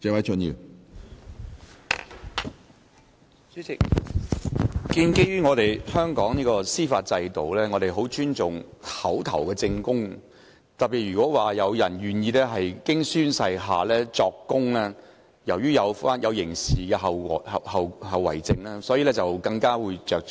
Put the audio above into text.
主席，香港的司法制度十分尊重口頭證供，特別是如果有人願意經宣誓下作供，由於涉及刑事後果，所以更為着重。